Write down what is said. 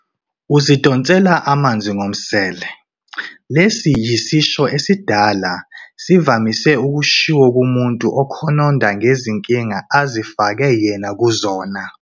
Uzidonsele amanzi ngomsele - lesi yisisho esidala sivamise ukushiwo kumuntu okhononda ngezinkinga azifake yena kuzona.